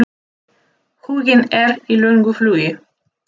Huginn er í löngu flugi.